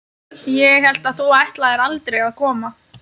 Ég hélt að þú ætlaðir aldrei að koma.